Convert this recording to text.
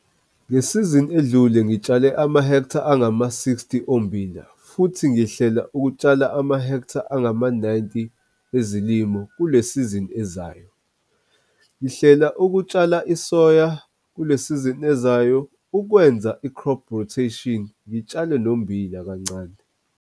Ngesizini edlule ngitshale amahektha angama-60 ommbila futhi ngihlela ukutshala amahektha angama-90 ezilimo kule sizini ezayo. Ngihlela ukutshala isoya kule sizini ezayo ukwenza i-crop rotation ngitshale nombila kancane.